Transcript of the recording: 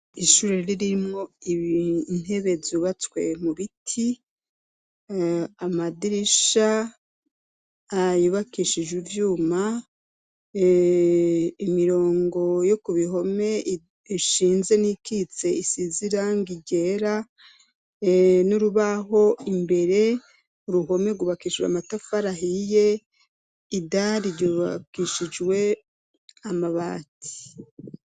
Ishure ririmwo ibintebe zubatswe mu biti amadirisha ayubakishije ivyuma imirongo yo ku bihome ishinze n'ikitse isizirango irera n'urubaho imbere uruhome rwubakishirwe amatafarahiye ida riryubakishijwe amabati.